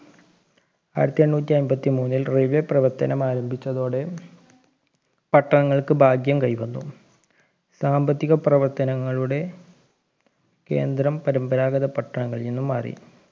ആയിരത്തി എണ്ണൂറ്റി എമ്പത്തി മൂന്നിൽ railway പ്രവർത്തനം ആരംഭിച്ചതോടെ പട്ടണങ്ങൾക്ക് ഭാഗ്യം കൈവന്നു സാമ്പത്തിക പ്രവർത്തനങ്ങളുടെ കേന്ദ്രം പരമ്പരാഗത പട്ടണങ്ങളീന്ന് മാറി